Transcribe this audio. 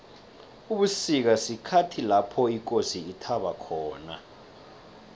ubusika sikhathi lapho ikosi ithaba khona